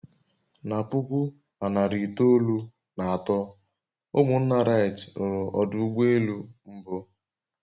Na puku na narị itoolu na atọ, ụmụnna wright ruru ọdụ ụgbọ elu mbụ